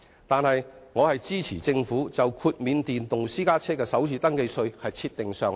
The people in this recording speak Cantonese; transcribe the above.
但我支持政府就豁免電動私家車的首次登記稅設定上限。